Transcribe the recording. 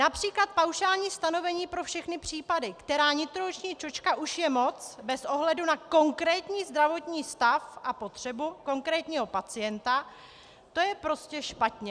Například paušální stanovení pro všechny případy, která nitrooční čočka už je moc bez ohledu na konkrétní zdravotní stav a potřebu konkrétního pacienta, to je prostě špatně.